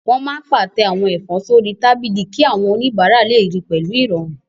Wọ́n máa n pàtẹ àwọn ẹ̀fọ́ sórí tábìlì kí àwọn oníbàárà lè ríi pẹ̀lú ìrọ̀rùn